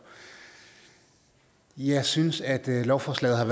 jeg synes at lovforslaget er